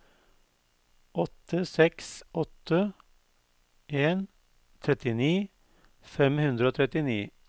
åtte seks åtte en trettini fem hundre og trettini